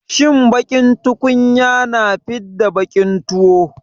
Shin baƙin tukunya na fidda baƙin tuwo.